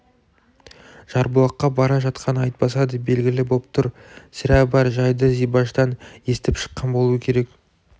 жарбұлаққа бара жатқаны айтпаса да белгілі боп тұр сірә бар жайды зибаштан естіп шыққан болу керек